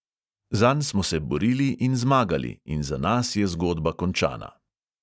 Zanj smo se borili in zmagali in za nas je zgodba končana.